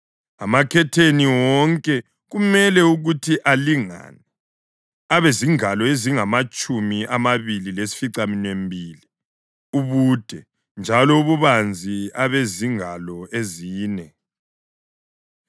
Amakhetheni wonke kumele ukuthi alingane, abezingalo ezingamatshumi amabili lesificaminwembili ubude njalo ububanzi abezingalo ezine.